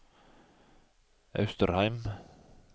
Austrheim